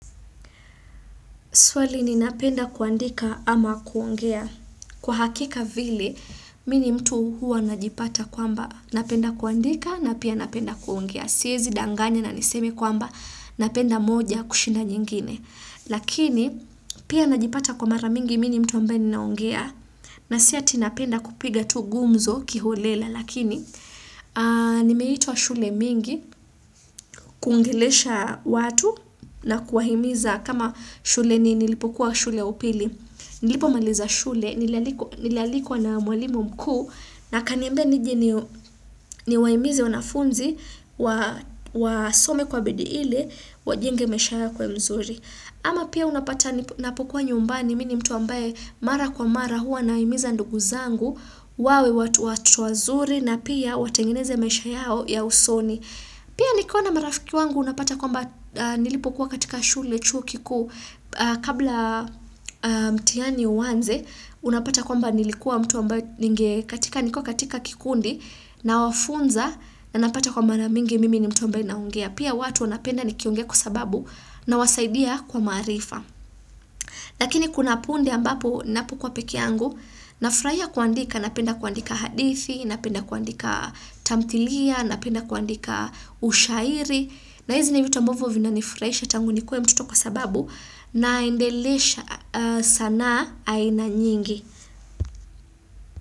Swali ninapenda kuandika ama kuongea. Kwa hakika vile, mi ni mtu huwa najipata kwamba napenda kuandika na pia napenda kuongea. Siezi danganya na niseme kwamba napenda moja kushinda nyingine. Lakini, pia najipata kwa mara mingi mi ni mtu ambaye ninaongea. Na si ati napenda kupiga tu gumzo kiholela. Lakini, nimeitwa shule mingi, kuongelesha watu na kuwahimiza. Kama shule ni nilipokuwa shule ya upili nilipomaliza shule nilialikwa na mwalimu mkuu na akanimbia nije niwahimize wanafunzi wasome kwa bidii ili wajenge maisha yao yakuwe mzuri ama pia unapata napokuwa nyumbani mi ni mtu ambaye mara kwa mara huwa nawahimiza ndugu zangu wawe watu wazuri na pia watengeneze maisha yao ya usoni pia nikiwa na marafiki wangu unapata kwa mba nilipokuwa katika shule chuo kikuu kabla mtiani uanze unapata kwamba nilikuwa mtu ambaye ningekuwa katika kikundi nawafunza na napata kwa mara mingi mimi ni mtu ambaye naongea pia watu wanapenda nikiongea kwa sababu nawasaidia kwa maarifa lakini kuna punde ambapo napokuwa pekee yangu nafraia kuandika napenda kuandika hadithi napenda kuandika tamthilia napenda kuandika ushairi na hizi ni vitu ambavo vinanifuraisha tangu nikuwe mtoto kwa sababu naendelesha sanaa aina nyingi.